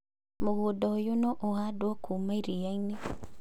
Mũgũnda ũyũ no ũhandwo kuuma iria - inĩ